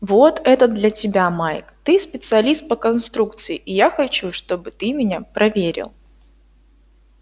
вот это для тебя майк ты специалист по конструкции и я хочу чтобы ты меня проверил